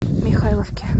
михайловке